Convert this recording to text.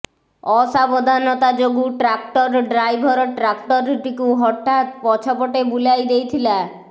ଅସାବଧାନତା ଯୋଗୁଁ tractor driver ଟ୍ରାକ୍ଟରଟିକୁ ହଠାତ ପଛ ପଟେ ବୁଲାଇ ଦେଇଥିଲା